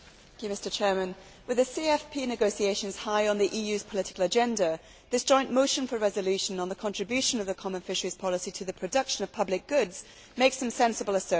Mr President, with the CFP negotiations high on the EU's political agenda, this joint motion for a resolution, on the contribution of the common fisheries policy to the production of public goods, makes some sensible assertions.